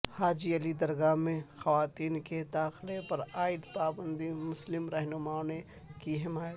حاجی علی درگاہ میں خواتین کے داخلے پرعائد پابندی کی مسلم رہنماوں نے کی حمایت